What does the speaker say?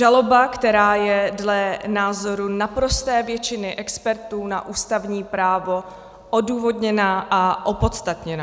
Žaloba, která je dle názoru naprosté většiny expertů na ústavní právo odůvodněná a opodstatněná.